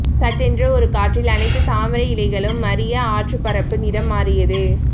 சட்டென்று ஒரு காற்றில் அனைத்துத் தாமரையிலைகளும் மறிய ஆற்றுப்பரப்பு நிறம் மாறியது